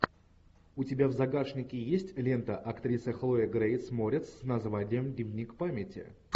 у тебя в загашнике есть лента актриса хлоя грейс морец с названием дневник памяти